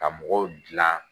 Ka mɔgɔw dilan